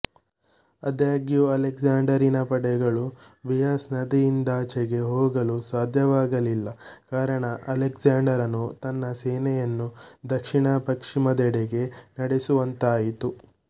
ಅದಾಗ್ಯೂ ಅಲೆಗ್ಸಾಂಡರಿನ ಪಡೆಗಳು ಬಿಯಸ್ ನದಿಯಿಂದಾಚೆಗೆ ಹೋಗಲು ಸಾಧ್ಯವಾಗಲಿಲ್ಲ ಕಾರಣ ಅಲೆಗ್ಸಾಂಡರನು ತನ್ನ ಸೇನೆಯನ್ನು ದಕ್ಷಿಣಪಶ್ಚಿಮದೆಡೆಗೆ ನಡೆಸುವಂತಾಯಿತು